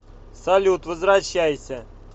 салют возвращайся